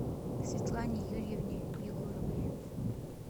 светлане юрьевне егоровой